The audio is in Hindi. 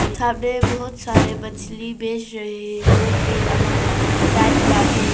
सामने बहुत सारे मछली बेच रहे हैं जो कि अलग अलग टाइप का है।